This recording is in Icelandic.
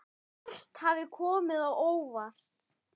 Margt hafði komið á óvart.